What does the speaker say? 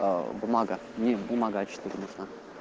бумага не бумага а четыре нужна